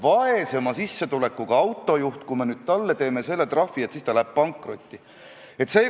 Valdavalt teise emakeelega piirkondades lubatakse ka asutustes suhelda teises keeles ja isegi riigi- ja kohaliku omavalitsuse asutuste siseasjaajamine võib käia teises keeles.